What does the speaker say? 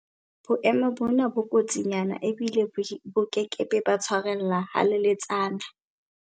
Boemo bona bo kotsinyana ebile bo ke ke ba tshwarella haleletsana.